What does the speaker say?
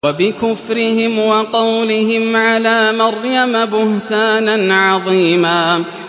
وَبِكُفْرِهِمْ وَقَوْلِهِمْ عَلَىٰ مَرْيَمَ بُهْتَانًا عَظِيمًا